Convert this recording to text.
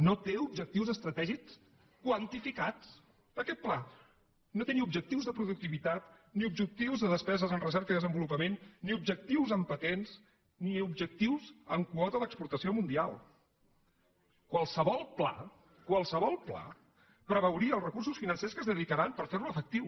no té objectius estratègics quantificats aquest pla no té ni objectius de productivitat ni objectius de despeses en recerca i desenvolupament ni objectius en patents ni objectius en quota d’exportació mundial qualsevol pla qualsevol pla preveuria els recursos financers que s’hi haurien de dedicar per fer lo efectiu